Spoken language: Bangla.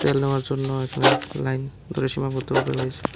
তেল নেওয়ার জন্য এখানে লাইন ধরে সীমাবদ্ধভাবে রয়েছে।